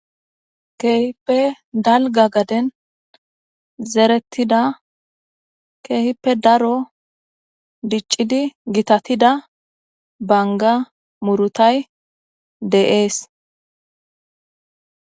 Keehippe dalga gaden zeretida keehippe daro diccidi gitatida banga murutay dees.